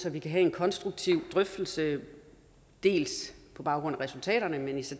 at vi kan have en konstruktiv drøftelse på baggrund af resultaterne af hvad vi så